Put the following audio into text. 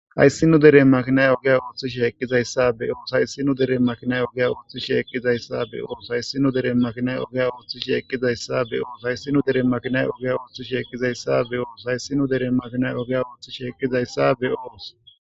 haysi nu deren makinay ogiya ooththish heqqizayssabe oos hayssinu deren makinay ogiya ooththishi ekkizayssabe oos hayssinu deren makinay ogiya ooththishi hekkizayssabe oos hayssinu dere makinay ogiya ooththish hekkizayssabe oos hayssinu deren makinay ogiya ooththish hekkizayssabe oos